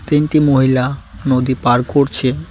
তিনটি মহিলা নদী পার করছেন।